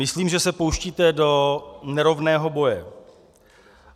Myslím, že se pouštíte do nerovného boje.